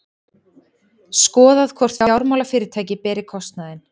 Skoðað hvort fjármálafyrirtæki beri kostnaðinn